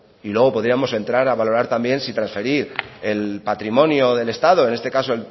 y luego podríamos entrar a valorar también si transferir el patrimonio del estado en este caso